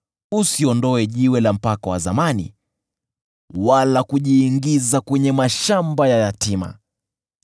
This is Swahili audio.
Usisogeze jiwe la mpaka wa zamani wala kunyemelea kwenye mashamba ya yatima,